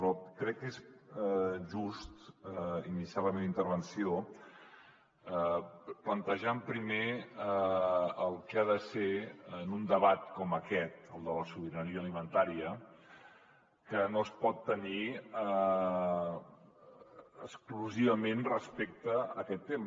però crec que és just iniciar la meva intervenció plantejant primer el que ha de ser un debat com aquest el de la sobirania alimentària que no es pot tenir exclusivament respecte a aquest tema